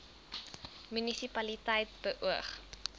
munisi paliteit beoog